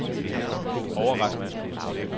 overrasket